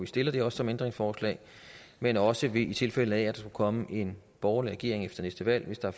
stiller det her som ændringsforslag men også i tilfælde af at der skulle komme en borgerlig regering efter næste valg hvis der